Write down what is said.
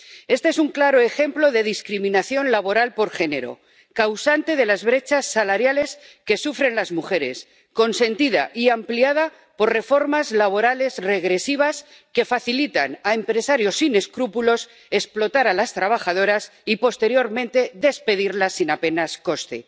Este es un claro ejemplo de discriminación laboral por género, causante de las brechas salariales que sufren las mujeres, consentida y ampliada por reformas laborales regresivas que facilitan a empresarios sin escrúpulos explotar a las trabajadoras y posteriormente despedirlas sin apenas coste.